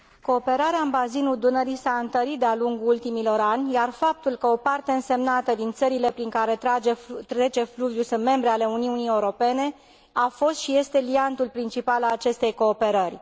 Cooperarea în bazinul Dunării s a întărit de a lungul ultimilor ani, iar faptul că o parte însemnată din țările prin care trece fluviul sunt membre ale Uniunii Europene a fost și este liantul principal al acestei cooperări.